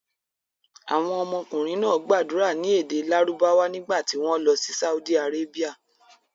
Àwọn ọmọkùnrin náà gbàdúrà ní èdè Lárúbáwá nígbà tí wọ́n lọ sí Saudi Arabia.